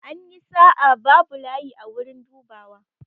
An yi sa'a, babu layi a wurin dubawa.